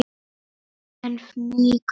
En fnykur